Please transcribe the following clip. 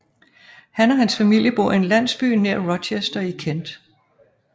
Han og hans familie bor i en landsby nær Rochester i Kent